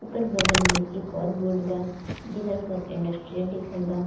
ओकर बगल में एक और बोर्ड बा जेकरा पर इंडस्ट्रियल लिखल बा.